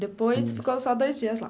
Depois ficou só dois dias lá.